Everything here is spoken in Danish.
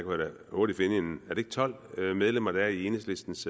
hurtigt finde en er det ikke tolv medlemmer der er i enhedslistens